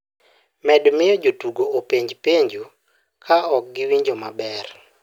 med miyo jotugo openj penjo kao ok giwinjo maber